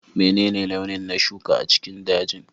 Menene launi na shuka a cikin dajin?